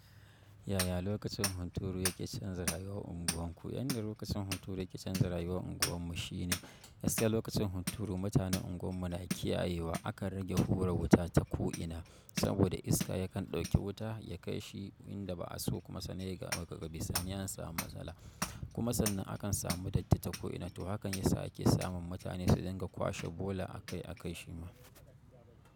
Yaya lokacin hunturu yake canja rayuwar unguwarku? Yan da lokacin hunturu yake canza rayuwar unguwarmu shine, gaskiya lokacin hunturu mutanen unguwarmu na kiyayewa akan rage hura wuta ta ko'ina, saboda iska yakan ɗauki wuta ya kai shi inda ba'a so kuma sannan sai kaga daga bisani an samu matsala. Kuma sannan akan samu datti ta ko'ina, to hakan yasa ake samun mutane su dinga kwashe bola a kai a kai shi ma.